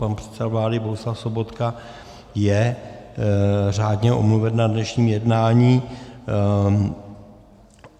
Pan předseda vlády Bohuslav Sobotka je řádně omluven na dnešním jednání.